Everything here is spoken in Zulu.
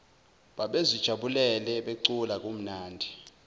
babezijabulele becula kumnandi